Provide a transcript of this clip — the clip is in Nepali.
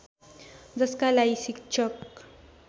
जसका लागि शिक्षक